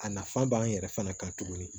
A nafa b'an yɛrɛ fana kan tuguni